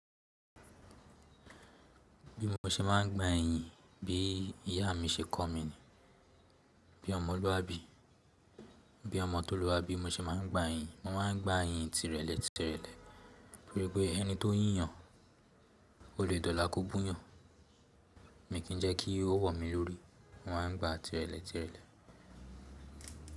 Bí mo se máà ń gba iyin bí ìyá mi se kọ́ mi ni. Bí ọ̀mọ̀ tó lúwa bí, bí ọ̀mọ̀ tó lúwa bí mo ṣe máà ń gba iyin, mo máa ń gba iyin tìrẹlẹ̀ tìrẹlẹ̀. Torí pé ẹni tó yíyan, o lè dọ̀la kò búyan. Mi Kìí jẹ́ kí o wọ̀ mí lórí, mò ń gba tìrẹlẹ̀ tìrẹlẹ̀.